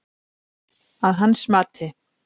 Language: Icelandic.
Að hans mati